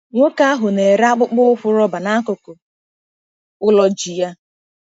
Nwoke ahụ na-ere akpụkpọ ụkwụ roba n'akụkụ ụlọ ji ya.